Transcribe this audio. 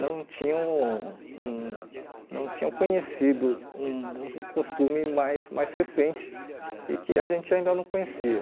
não tinham hum não tinham conhecido um um costume mais mais recente e que a gente ainda não conhecia.